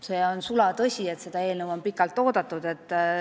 See on sulatõsi, et seda eelnõu on pikalt oodatud.